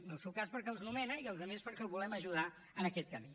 en el seu cas perquè els nomena i els altres perquè el volem ajudar en aquest camí